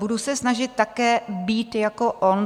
Budu se snažit být také jako on.